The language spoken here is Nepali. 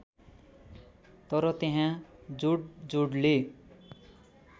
तर त्यहाँ जोडजोडले